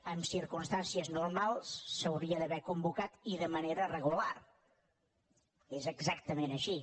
en circumstàncies normals s’hauria d’haver convocat i de manera regular és exactament així